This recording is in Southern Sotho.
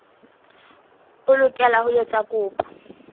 o lokela ho etsa kopo